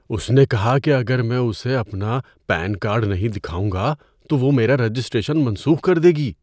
اس نے کہا کہ اگر میں اسے اپنا پین کارڈ نہیں دکھاؤں گا تو وہ میرا رجسٹریشن منسوخ کر دے گی۔